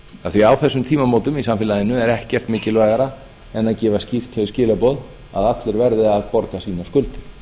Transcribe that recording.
af því að á þessum tímamótum í samfélaginu er ekkert mikilvægara en að gefa skýrt þau skilaboð að allir verði að borga sínar skuldir